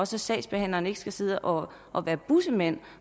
så sagsbehandleren ikke skal sidde og og være bussemand